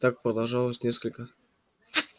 так продолжалось несколько часов